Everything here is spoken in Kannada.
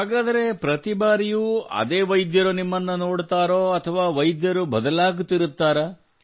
ಹಾಗಾದರೆ ಪ್ರತಿ ಬಾರಿಯೂ ಅದೇ ವೈದ್ಯರು ನಿಮ್ಮನ್ನು ನೋಡುತ್ತಾರೋ ಅಥವಾ ವೈದ್ಯರು ಬದಲಾಗುತ್ತಿರುತ್ತಾರೆಯೇ